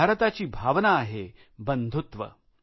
भारताची भावना आहे बंधुत्व